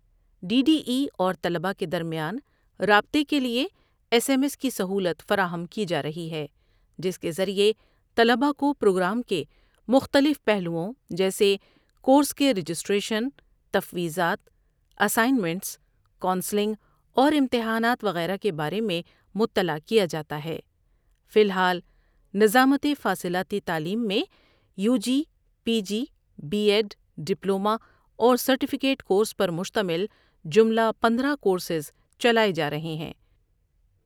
D D E اور طلبا کے درمیان رابطے کے لیے ایس ایم ایس کی سہولت فراہم کی جارہی ہے جس کے ذریعہ طلبا کو پروگرام کے مختلف پہلوؤں جسے کورس کے رجسٹریشن، تفویضات، کونسلنگ اورامتحانات وغیرہ کے بارے میں مطلع کیا جاتا ہے۔